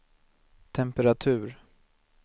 temperatur